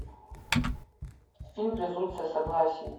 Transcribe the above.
фильм презумпция согласия